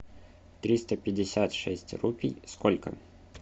триста пятьдесят шесть рупий сколько